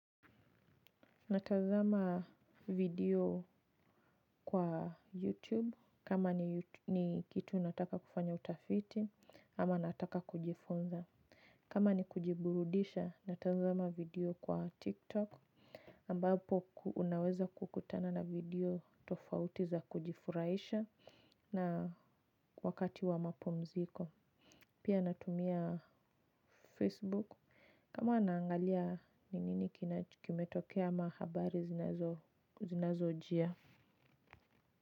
Natanzama video kwa YouTube kama ni kitu nataka kufanya utafiti ama nataka kujifunza. Kama ni kujiburudisha natanzama video kwa TikTok ambapo unaweza kukutana na video tofauti za kujifurahisha na wakati wa mapumziko. Pia natumia Facebook kama naangalia ni nini kimetokea ama habari zinazo jia.